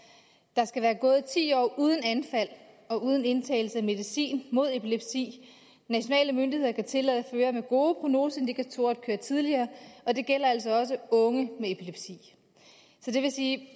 der skal være gået ti år uden anfald og uden indtagelse af medicin mod epilepsi nationale myndigheder kan tillade førere med gode prognoseindikatorer at køre tidligere og det gælder altså også unge med epilepsi så det vil sige